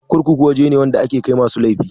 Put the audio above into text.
Kurkuku waje ne wanda ake kai masu laifi